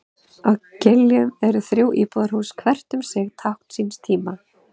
Á Giljum eru þrjú íbúðarhús, hvert um sig tákn síns tíma.